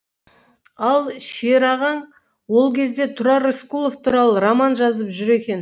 ал шерағаң ол кезде тұрар рысқұлов туралы роман жазып жүр екен